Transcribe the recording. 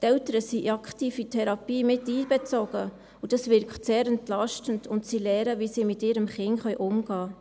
Die Eltern sind aktiv in die Therapie miteinbezogen, und das wirkt sehr entlastend, und sie lernen, wie sie mit ihrem Kind umgehen können.